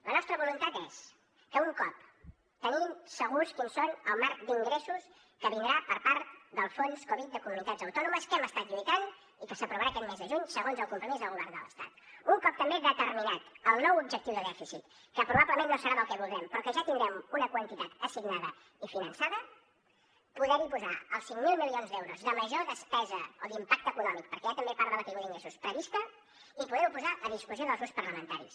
la nostra voluntat és que un cop tenint segur quin és el marc d’ingressos que vindrà per part del fons covid de comunitats autònomes que hi hem estat lluitant i que s’aprovarà aquest mes de juny segons el compromís del govern de l’estat un cop també determinat el nou objectiu de dèficit que probablement no serà el que voldrem però que ja tindrem una quantitat assignada i finançada poderhi posar els cinc mil milions d’euros de major despesa o d’impacte econòmic perquè hi ha també part de la caiguda d’ingressos prevista i poderho posar a discussió dels grups parlamentaris